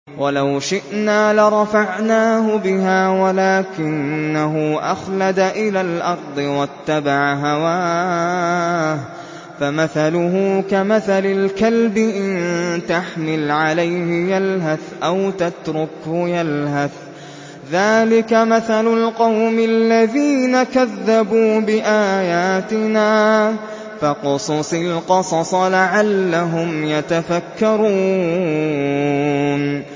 وَلَوْ شِئْنَا لَرَفَعْنَاهُ بِهَا وَلَٰكِنَّهُ أَخْلَدَ إِلَى الْأَرْضِ وَاتَّبَعَ هَوَاهُ ۚ فَمَثَلُهُ كَمَثَلِ الْكَلْبِ إِن تَحْمِلْ عَلَيْهِ يَلْهَثْ أَوْ تَتْرُكْهُ يَلْهَث ۚ ذَّٰلِكَ مَثَلُ الْقَوْمِ الَّذِينَ كَذَّبُوا بِآيَاتِنَا ۚ فَاقْصُصِ الْقَصَصَ لَعَلَّهُمْ يَتَفَكَّرُونَ